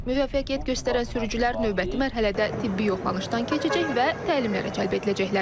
Müvəffəqiyyət göstərən sürücülər növbəti mərhələdə tibbi yoxlanışdan keçəcək və təlimlərə cəlb ediləcəklər.